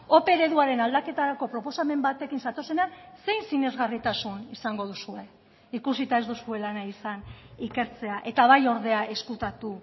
ope ereduaren aldaketarako proposamen batekin zatozenean zein sinesgarritasun izango duzue ikusita ez duzuela nahi izan ikertzea eta bai ordea ezkutatu